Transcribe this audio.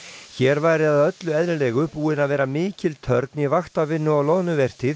hér væri að öllu eðlilegu búin að vera mikil törn í vaktavinnu á loðnuvertíð